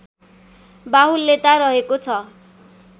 बाहुल्यता रहेको छ